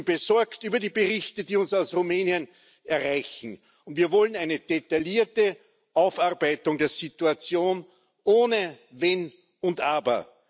Wir sind besorgt über die Berichte, die uns aus Rumänien erreichen, und wir wollen eine detaillierte Aufarbeitung der Situation ohne Wenn und Aber.